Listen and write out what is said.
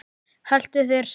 Haltu þér saman